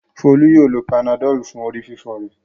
Folú yóò lo Panadol fún orí-fífọ́ rẹ̀.